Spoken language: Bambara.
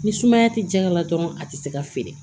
Ni sumaya ti janya la dɔrɔn a tɛ se ka feere